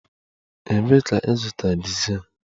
Ebee ka ịzụta dizel?